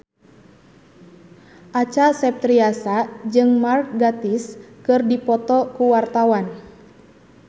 Acha Septriasa jeung Mark Gatiss keur dipoto ku wartawan